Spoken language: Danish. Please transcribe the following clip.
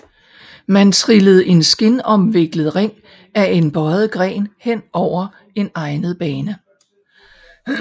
Man trillede en skindomviklet ring af en bøjet gren hen over en egnet bane